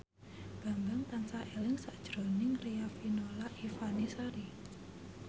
Bambang tansah eling sakjroning Riafinola Ifani Sari